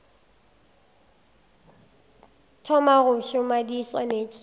thoma go šoma di swanetše